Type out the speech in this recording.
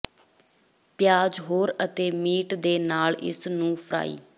ਪਿਆਜ਼ ੋਹਰ ਅਤੇ ਮੀਟ ਦੇ ਨਾਲ ਇਸ ਨੂੰ ਫਰਾਈ